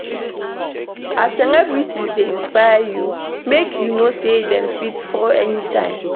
As celebrities dey inspire you, make you know sey dem fit fall anytime